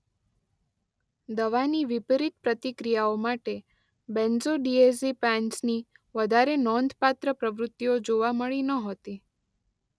દવાની વિપરિત પ્રતિક્રિયાઓ માટે બેન્ઝોડિએઝેપિન્સની વધારે નોંધપાત્ર પ્રવૃત્તિઓ જોવા મળી નહોતી.